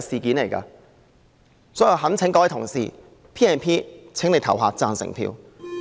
所以，我懇請各位同事就引用《條例》的議案投贊成票。